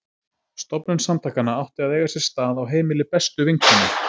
Stofnun samtakanna átti að eiga sér stað á heimili bestu vinkonu